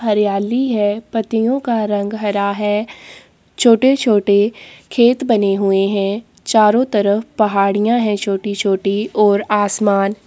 हरियाली है। पत्तियों का रंग हरा है। छोटे-छोटे खेत बने हुए हैं। चारों तरफ पहाड़ियाँ हैं छोटी-छोटी और आसमान --